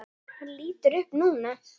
Hann lítur upp núna.